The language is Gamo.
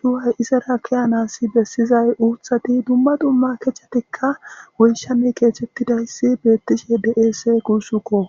coo he izara ke'anas bessiza uuththati dumma dumma kechatikka woyishshan keexetidayssi beettishe de'es guussuko.